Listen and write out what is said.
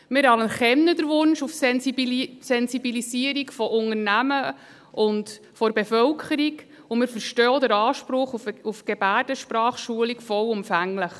Wir anerkennen den Wunsch auf Sensibilisierung von Unternehmen und der Bevölkerung, und wir verstehen auch vollumfänglich den Anspruch auf Gebärdensprachschulung.